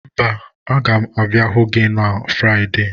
Mba, aga m abịa ịhụ ụnụ na Fraịde.